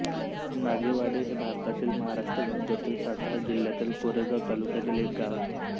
नागेवाडी हे भारतातील महाराष्ट्र राज्यातील सातारा जिल्ह्यातील कोरेगाव तालुक्यातील एक गाव आहे